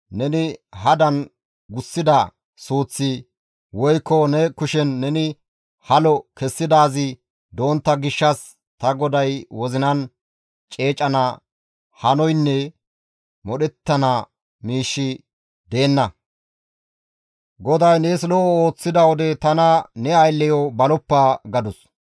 neni hadan gussida suuththi woykko ne kushen neni halo kessidaazi dontta gishshas ta goday wozinan ceecana hanoynne modhettana miishshi deenna. GODAY nees lo7o ooththida wode tana ne aylleyo baloppa» gadus.